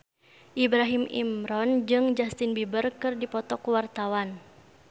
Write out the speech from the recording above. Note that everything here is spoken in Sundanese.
Ibrahim Imran jeung Justin Beiber keur dipoto ku wartawan